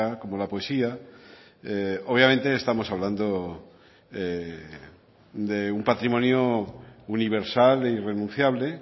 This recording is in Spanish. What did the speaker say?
como la poesía obviamente estamos hablando de un patrimonio universal e irrenunciable